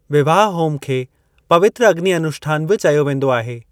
विवाह-होम खे पवित्र अग्नि अनुष्ठान बि चयो वेंदो आहे।